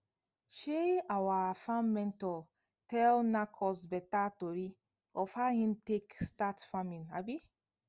um our farm mentor tell knack us beta tori of how hin take start farming um